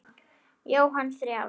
Jóhann: Þrjár?